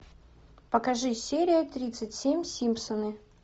покажи серию тридцать семь симпсоны